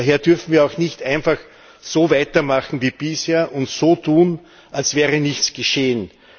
Daher dürfen wir auch nicht einfach so weitermachen wie bisher und so tun, als wäre nichts geschehen.